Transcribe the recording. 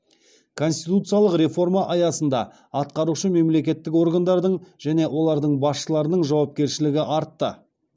конституциялық реформа аясында атқарушы мемлекеттік органдардың және олардың басшыларының жауапкершілігі артты